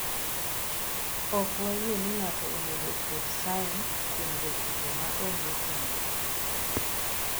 Ok wayie ni ng’ato onego oket sign kuom jatugo ma onge chenro.